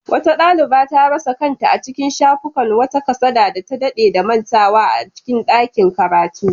Wata daliba ta rasa kanta a cikin shafukan wata kasada da ta dade da mantawa a cikin dakin karatu.